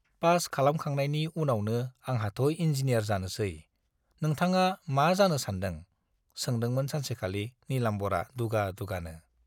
Pass खालामखांनायनि उनावनो आंहाथ' इन्जिनियार जानोसै, नोंथाङा मा जानो सानदों? सोंदोंमोन सानसेखालि नीलाम्बरआ दुगा दुगानो।